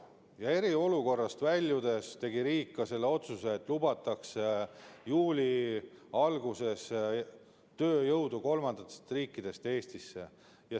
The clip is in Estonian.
Ja eriolukorrast väljudes tegi riik ka sellise otsuse, et juuli alguses lubatakse Eestisse tööjõudu kolmandatest riikidest.